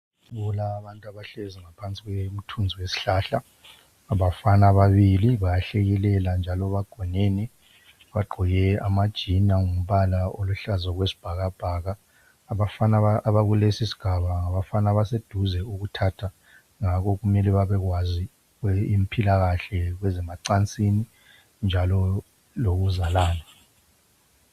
Kulabantu abahlezi ngaphansi komthunzi wesihlahla abafana ababili abahlekelelayo bagqoke ama jini alombala oluhlaza okwesibhakabhaka abafana abakulesisigaba ngabafana abokuthatha ngakho kumele babekwazi impilakahle yakwezemacansini njalo lokuzalana